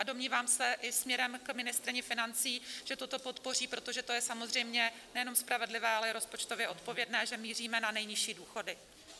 A domnívám se - i směrem k ministryni financí - že toto podpoří, protože to je samozřejmě nejenom spravedlivé, ale i rozpočtově odpovědné, že míříme na nejnižší důchody.